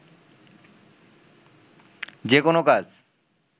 যেকোনো কাজ